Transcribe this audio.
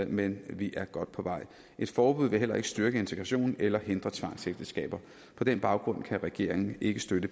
men vi er godt på vej et forbud vil heller ikke styrke integrationen eller hindre tvangsægteskaber på den baggrund kan regeringen ikke støtte